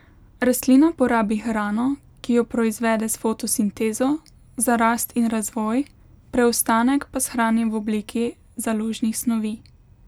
Rastlina porabi hrano, ki jo proizvede s fotosintezo, za rast in razvoj, preostanek pa shrani v obliki založnih snovi.